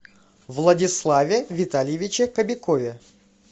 владиславе витальевиче кобякове